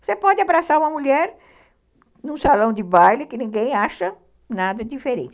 Você pode abraçar uma mulher num salão de baile que ninguém acha nada diferente.